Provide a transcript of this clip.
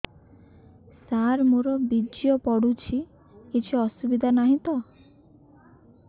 ସାର ମୋର ବୀର୍ଯ୍ୟ ପଡୁଛି କିଛି ଅସୁବିଧା ନାହିଁ ତ